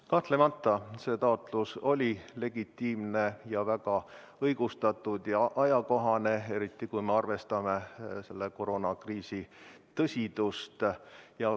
Kahtlemata see taotlus oli legitiimne ja väga õigustatud, väga ajakohane, eriti kui me arvestame koroonakriisi tõsidust.